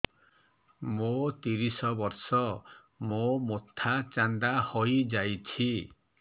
ମୋ ତିରିଶ ବର୍ଷ ମୋ ମୋଥା ଚାନ୍ଦା ହଇଯାଇଛି